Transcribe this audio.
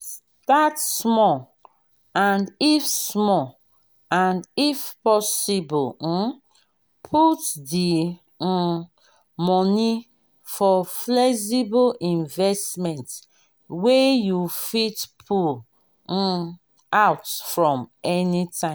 start small and if small and if possible um put di um money for flexible investment wey you fit pull um out from anytime